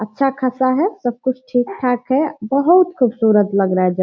अच्छा-खासा है सब कुछ ठीक-ठाक है बहुत खुबसुरत लग रहा है।